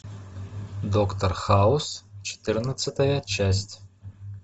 доктор хаус четырнадцатая часть